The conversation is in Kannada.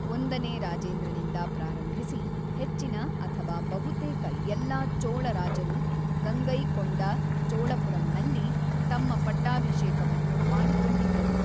ಒಂದನೇ ರಾಜೇಂದ್ರನಿಂದ ಪ್ರಾರಂಭಿಸಿ ಹೆಚ್ಚಿನ ಅಥವಾ ಬಹುತೇಕ ಎಲ್ಲಾ ಚೋಳ ರಾಜರು ಗಂಗೈಕೊಂಡ ಚೋಳಪುರಂನಲ್ಲಿ ತಮ್ಮ ಪಟ್ಟಾಭಿಷೇಕವನ್ನು ಮಾಡಿಕೊಂಡಿದ್ದರು.